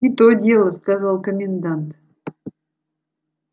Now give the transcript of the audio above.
и то дело сказал комендант